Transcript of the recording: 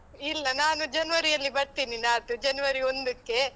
ಇಲ್ಲ, ನಾನು ಜನವರಿಯಲ್ಲಿ ಬರ್ತೇನೆ, ನಾಡ್ದು ಜನವರಿ ಒಂದುಕ್ಕೆ.